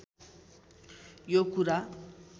यो कुरा